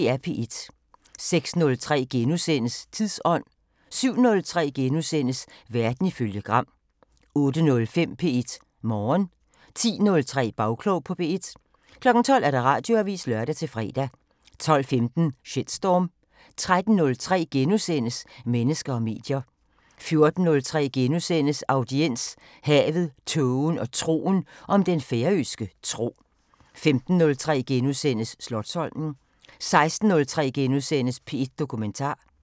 06:03: Tidsånd * 07:03: Verden ifølge Gram * 08:05: P1 Morgen 10:03: Bagklog på P1 12:00: Radioavisen (lør-fre) 12:15: Shitstorm 13:03: Mennesker og medier * 14:03: Audiens: Havet, tågen og troen – om den færøske tro * 15:03: Slotsholmen * 16:03: P1 Dokumentar *